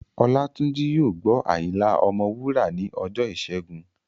Olátúnjí yóò gbọ́ Ayinla ọmọ Wúrà ní ọjọ́ ìṣẹ́gun